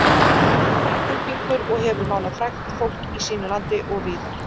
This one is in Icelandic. Englendingur og hefur málað frægt fólk í sínu landi og víðar.